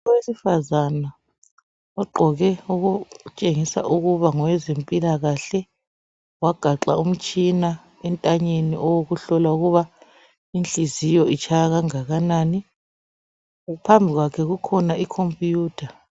Owesifazane ogqoke okutshengisa ukuba ngowezempilakahle, wagaxa umtshina entanyeni owokuhlola ukuba inhliziyo itshaya kangakanani. Phambi kwakhe kukhona ikhompiyutha.